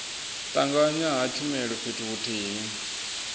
tanganywa ha tshumelo fhethu huthihi